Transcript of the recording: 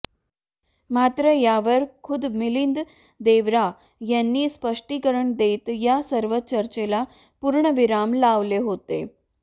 मात्र यावर खुद्द मिलिंद देवरा यांनी स्पष्टीकरण देत या सर्व चर्चेला पूर्णविराम लावले होते